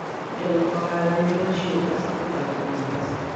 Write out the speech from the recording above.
Jolok ohala nyalo chiwo pesa kokalo kuom M-Pesa.